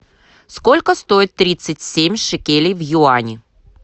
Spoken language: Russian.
сколько стоит тридцать семь шекелей в юани